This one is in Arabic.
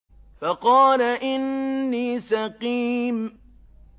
فَقَالَ إِنِّي سَقِيمٌ